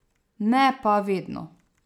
Ne pa vedno.